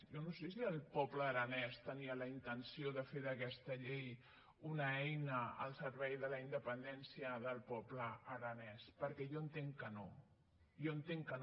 jo no sé si el poble aranès tenia la intenció de fer d’aquesta llei una eina al servei de la independència del poble ara·nès perquè jo entenc que no jo entenc que no